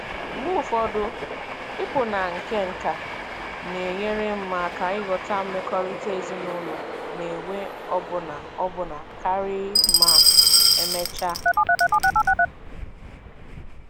Mgbe ụfọdụ, ịpụ na nkenke na-enyere m aka ịghọta mmekọrịta ezinụlọ na-enwe ọbụna ọbụna karị ma emechaa.